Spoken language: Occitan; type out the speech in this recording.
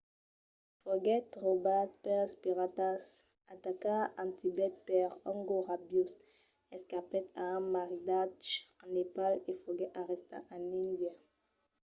foguèt raubat pels piratas atacat en tibet per un gos rabiós escapèt a un maridatge en nepal e foguèt arrestat en índia